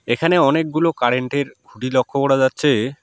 এখানে অনেকগুলো কারেন্ট -এর খুঁটি লক্ষ করা যাচ্ছে।